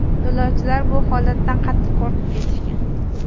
Yo‘lovchilar bu holatdan qattiq qo‘rqib ketishgan.